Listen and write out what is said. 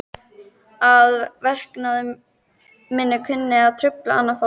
Að verknaður minn kunni að trufla annað fólk.